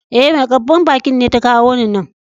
E,mai karban bakin ne ta kawo ni nan.